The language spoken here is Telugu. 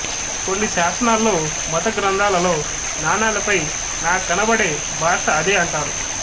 కొన్ని శాసనాల్లో మత గ్రంథాలలోనాణాలపైనా కనబడే భాష అదే అంటారు